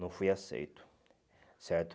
Não fui aceito, certo?